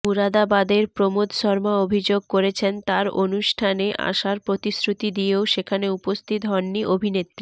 মুরাদাবাদের প্রমোদ শর্মা অভিযোগ করেছেন তাঁর অনুষ্ঠানে আসার প্রতিশ্রুতি দিয়েও সেখানে উপস্থিত হননি অভিনেত্রী